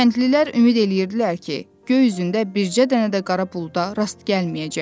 Kəndlilər ümid eləyirdilər ki, göy üzündə bircə dənə də qara buluda rast gəlməyəcəklər.